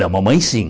Da mamãe, sim.